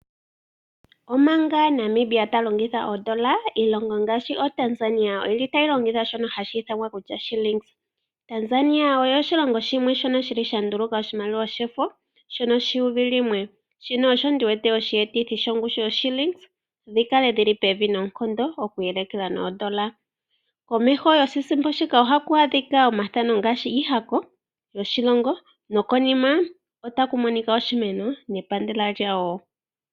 Omanga Namibia talongitha oondola, iilongo ngaashi oTanzania oyili tayi longitha shono hashi ithanwa Shillings. Tanzania osho oshilongo shoka shili shanduluka oshimaliwa shefo shono 1000, shono osho ndiwete oshiyetithi shongushu yoShillings dhikale dhili pevi noonkondo okweeleka noondola . Komeho goshisimpo shika ohaku adhika iihako shoshilongo nokonima otaku monika oshimeno nepandela lyawo.